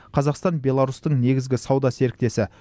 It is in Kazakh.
қазақстан беларусьтің негізгі сауда серіктесі